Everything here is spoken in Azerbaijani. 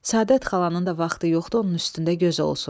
Səadət xalanın da vaxtı yoxdur onun üstündə göz olsun.